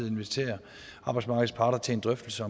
invitere arbejdsmarkedets parter til en drøftelse